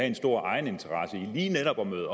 en stor egeninteresse i lige netop at møde